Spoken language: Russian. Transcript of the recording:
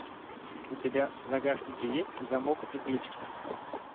у тебя в загашнике есть замок и ключ